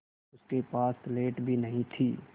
उसके पास स्लेट भी नहीं थी